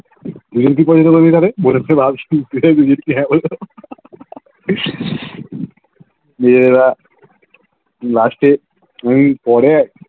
দুইজনকে কি করবে বলোরে মেয়েরা last পরে যখন